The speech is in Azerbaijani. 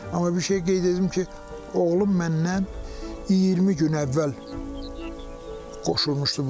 Amma bir şeyi qeyd edim ki, oğlum məndən 20 gün əvvəl qoşulmuşdu bu işlərə.